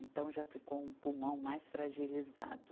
Então, já ficou um pulmão mais fragilizado.